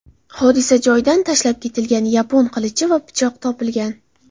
Hodisa joyidan tashlab ketilgan yapon qilichi va pichoq topilgan.